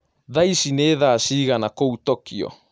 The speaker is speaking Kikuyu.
Thaaĩcĩ nĩ thaa cĩĩgana kũũ tokyo